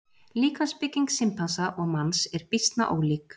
Líkamsbygging simpansa og manns er býsna ólík.